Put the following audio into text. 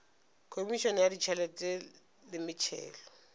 khomišene ya ditšhelete le metšhelo